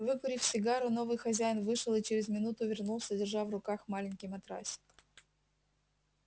выкурив сигару новый хозяин вышел и через минуту вернулся держа в руках маленький матрасик